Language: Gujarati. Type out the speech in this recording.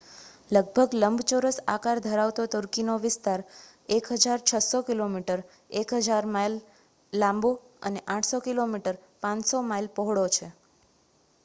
લગભગ લંબચોરસ આકાર ધરાવતો તુર્કીનો વિસ્તાર 1,600 કિલોમીટર 1,000 માઇલ લાંબો અને 800 કિમી 500 માઇલ પહોળો છે